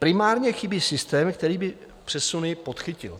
Primárně chybí systém, který by přesuny podchytil.